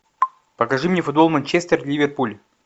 покажи мне футбол манчестер ливерпуль